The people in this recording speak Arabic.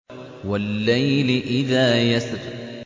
وَاللَّيْلِ إِذَا يَسْرِ